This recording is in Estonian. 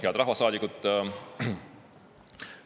Head rahvasaadikud!